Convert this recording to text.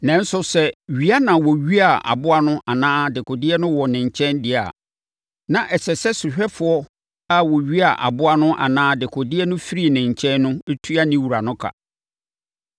Nanso, sɛ wia na wɔwiaa aboa no anaa dekodeɛ no wɔ ne nkyɛn deɛ a, na ɛsɛ sɛ sohwɛfoɔ a wɔwiaa aboa no anaa dekodeɛ no firii ne nkyɛn no tua ne wura no ka.